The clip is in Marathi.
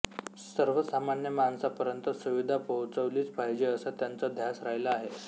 सर्वसामान्य माणसापर्यंत सुविधा पोहचवलीच पाहिजे असा त्यांचा ध्यास राहिला आहे